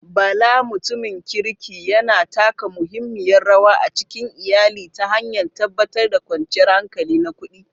Bala, mutumin kirki, yana taka muhimmiyar rawa a cikin iyali ta hanyar tabbatar da kwanciyar hankali na kudi.